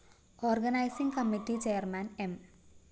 organising committee chairman M